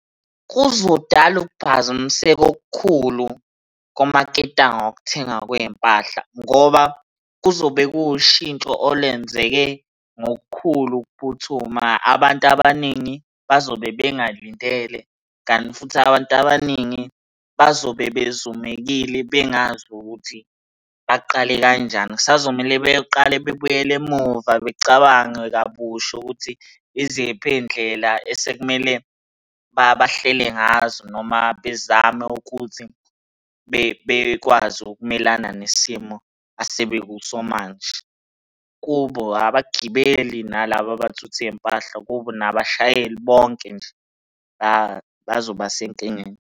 Kuzodala ukuphazamiseka okukhulu kumaketango okuthengaw kwey'mpahla, ngoba kuzobe kuwushintsho olenzeke ngokukhulu ukuphuthuma. Abantu abaningi bazobe bengalindele, kanti futhi abantu abaningi bazobe bezumekile bengazi ukuthi baqale kanjani. Kusazomele beqale bebuyele emuva becabange kabusha ukuthi iziphi iy'ndlela esekumele bahlele ngazo, noma bezame ukuthi bekwazi ukumelana nesimo asebekuso manje. Kubo abagibeli nalaba abathutha iy'mpahla kubo, nabashayeli bonke nje bazobasenkingeni.